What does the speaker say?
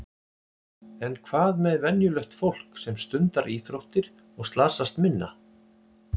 En hvað með venjulegt fólk sem stundar íþróttir og slasast minna?